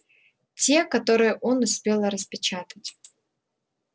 те которые он успел распечатать